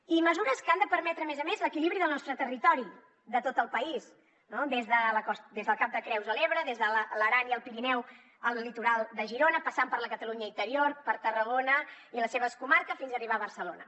i mesures que han de permetre a més a més l’equilibri del nostre territori de tot el país des del cap de creus a l’ebre des de l’aran i el pirineu al litoral de girona passant per la catalunya interior per tarragona i les seves comarques fins a arribar a barcelona